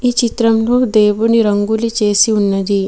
ఈ చిత్రంలో దేవుని రంగోలి చేసి ఉన్నది.